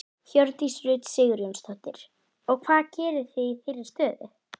Hjördís Rut Sigurjónsdóttir: Og hvað gerið þið í þeirri stöðu?